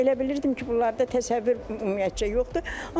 Elə bilirdim ki, bunlarda təsəvvür ümumiyyətcə yoxdur.